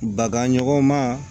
Baganɲɔgɔn ma